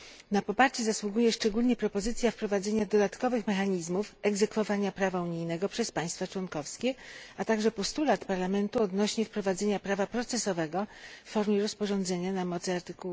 Na poparcie zasługuje szczególnie propozycja wprowadzenia dodatkowych mechanizmów egzekwowania prawa unijnego przez państwa członkowskie, a także postulat Parlamentu odnośnie do wprowadzenia prawa procesowego w formie rozporządzenia na mocy art.